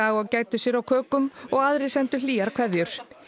og gæddu sér á kökum í og aðrir sendu hlýjar kveðjur